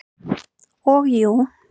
Og jú.